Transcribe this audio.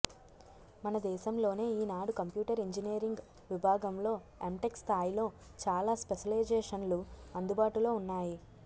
మనదేశంలోనే ఈనాడు computer engineering విభాగంలో ఎంటెక్ స్థాయిలో చాలా స్పెషలైజేషన్లు అందుబాటులో ఉన్నాయి